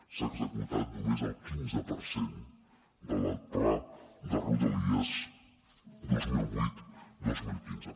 s’ha executat només el quinze per cent del pla de rodalies dos mil vuit dos mil quinze